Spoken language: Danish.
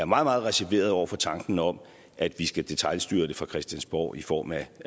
meget meget reserveret over for tanken om at vi skal detailstyre det fra christiansborg i form af